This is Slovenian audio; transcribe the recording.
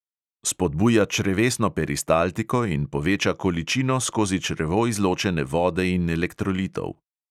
Spodbuja črevesno peristaltiko in poveča količino skozi črevo izločene vode in elektrolitov.